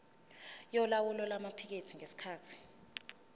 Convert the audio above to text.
yolawulo lwamaphikethi ngesikhathi